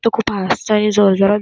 तो खूप हसतोय जोर जोरात.